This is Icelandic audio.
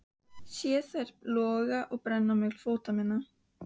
Sé þær loga og brenna milli fóta minna.